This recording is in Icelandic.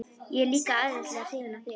Ég er líka æðislega hrifin af þér.